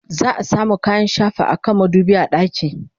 za'a samu kayan shafa akan madubi a ɗaki